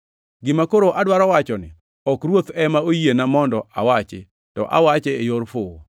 Gima koro adwaro wachoni ok Ruoth ema oyiena mondo awachi, to awache e yor fuwo.